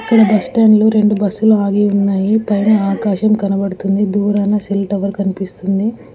ఇక్కడ బస్టాండ్ లో రెండు బస్సు లు ఆగి ఉన్నాయి పైన ఆకాశం కనబడుతుంది దూరాన సెల్ టవర్ కనిపిస్తుంది.